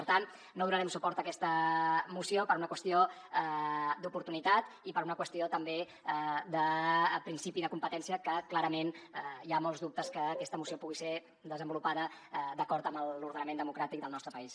per tant no donarem suport a aquesta moció per una qüestió d’oportunitat i per una qüestió també de principi de competència que clarament hi ha molts dubtes que aquesta moció pugui ser desenvolupada d’acord amb l’ordenament democràtic del nostre país